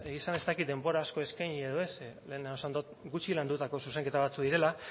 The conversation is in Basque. egia esan ez dakit denbora asko eskaini edo ez ze lehenago esan dut gutxi landutako zuzenketa batzuk direla